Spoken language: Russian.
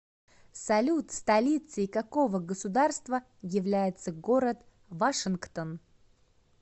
салют столицей какого государства является город вашингтон